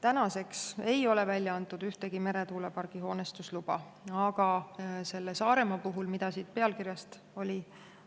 Tänaseks ei ole välja antud ühtegi meretuulepargi hoonestusluba, aga selle Saaremaa puhul, mille kohta